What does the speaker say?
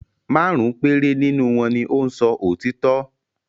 Márùn-ún péré nínú wọn ni ó ń sọ òtítọ́.